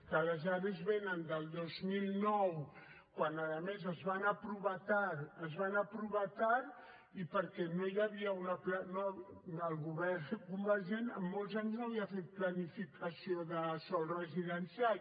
que les are vénen del dos mil nou quan a més es van aprovar tard es van aprovar tard i perquè el govern convergent en molts anys no havia fet planificació de sòl residencial